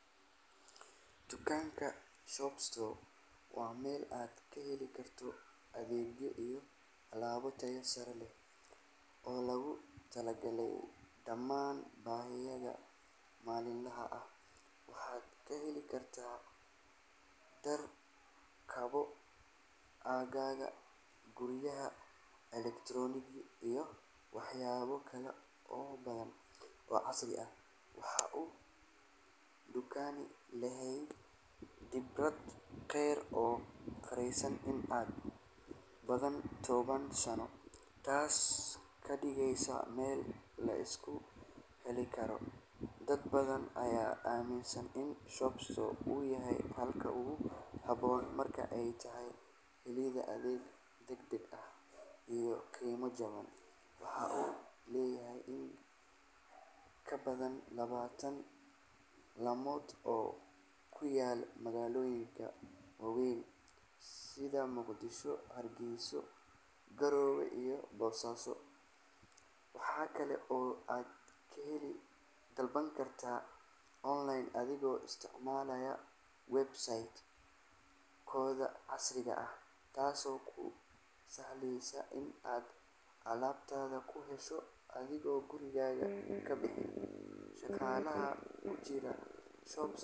Dukaanka Shop Store waa meel aad ka heli karto adeegyo iyo alaabo tayo sare leh oo loogu talagalay dhammaan baahiyahaaga maalinlaha ah. Waxaad ka heli kartaa dhar, kabo, agabka guryaha, elektaroonig iyo waxyaabo kale oo badan oo casri ah. Waxa uu dukaankani leeyahay khibrad dheer oo gaaraysa in ka badan toban sano, taasoo ka dhigaysa meel la isku halleyn karo. Dad badan ayaa aaminsan in Shop Store uu yahay xalka ugu habboon marka ay tahay helidda adeeg degdeg ah iyo qiimo jaban. Waxa uu leeyahay in ka badan labaatan laamood oo ku yaalla magaalooyinka waaweyn sida Muqdisho, Hargeysa, Garowe iyo Boosaaso. Waxa kale oo aad ka dalban kartaa online adigoo isticmaalaya website-kooda casriga ah, taasoo kuu sahlaysa in aad alaabtaada ku hesho adigoon gurigaaga ka bixin. Shaqaalaha ku jira.